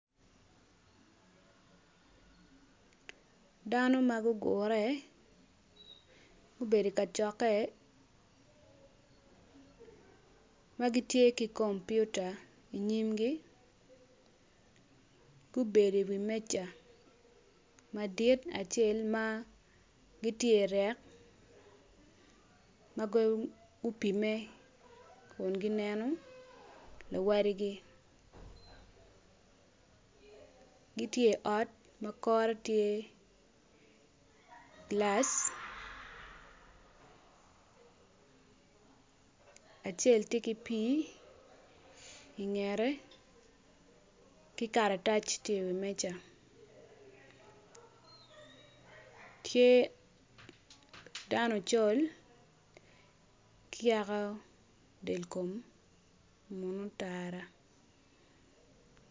Dano ma gugure gubedo ikacokke ma gitye ki kompiota inyimgi gubedo iwi meja madit acel ma gitye irek ma gupimme kun gineno luwotgi gitye i ot ma kore tye gilac acel ti ki pii ingete ki karatac tye iwi meja tye dano ocol ki yaka delkom munu otara